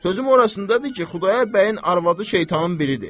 Sözüm orasındadır ki, Xudayar bəyin arvadı şeytanın biridir.